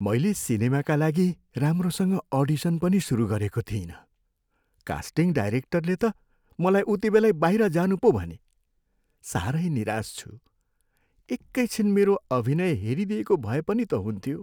मैले सिनेमाका लागि राम्रोसँग अडिसन पनि सुरु गरेको थिइनँ, कास्टिङ डाइरेक्टरले त मलाई उतिबेलै बाहिर जानु पो भने। साह्रै निराश छु। एकै छिन मेरो अभिनय हेरिदिएको भए पनि त हुन्थ्यो!